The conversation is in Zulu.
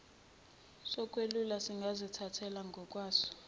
sokweluleka singazithathela ngokwaso